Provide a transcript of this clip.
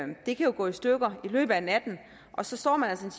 det kan jo gå i stykker i løbet af natten og så står man altså